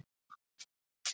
Þú stendur þig vel, Sólbrún!